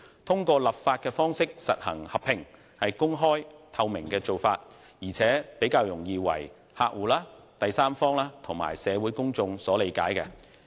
通過立法的方式實行合併，是公開及具透明度的做法，而且比較容易為客戶、第三方及社會公眾所理解。